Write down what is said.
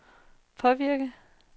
påvirke